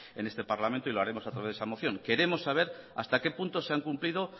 en este parlamento y lo haremos a través de esa moción queremos saber hasta qué punto se han cumplido